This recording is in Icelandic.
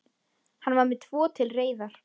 Hann var með tvo til reiðar.